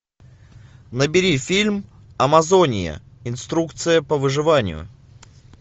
набери фильм амазония инструкция по выживанию